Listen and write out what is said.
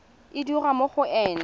e dirwa mo go ena